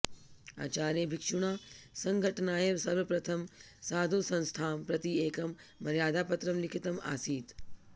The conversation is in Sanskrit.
आचार्यभिक्षुणा सङ्घटनाय सर्वप्रथमं साधुसंस्थां प्रति एकं मर्यादापत्रं लिखितम् आसीत्